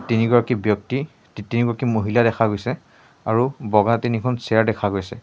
তিনিগৰাকী ব্যক্তি তি-তিনিগৰাকী মহিলা দেখা গৈছে আৰু বগা তিনিখন চেয়াৰ দেখা গৈছে।